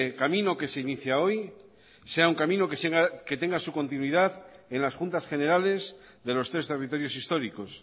camino que se inicia hoy sea un camino que tenga su continuidad en las juntas generales de los tres territorios históricos